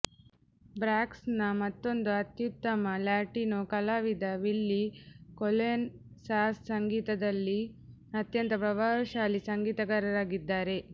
ಬ್ರಾಂಕ್ಸ್ನ ಮತ್ತೊಂದು ಅತ್ಯುತ್ತಮ ಲ್ಯಾಟಿನೋ ಕಲಾವಿದ ವಿಲ್ಲೀ ಕೊಲೊನ್ ಸಾಲ್ಸಾ ಸಂಗೀತದಲ್ಲಿ ಅತ್ಯಂತ ಪ್ರಭಾವಶಾಲಿ ಸಂಗೀತಗಾರರಾಗಿದ್ದಾರೆ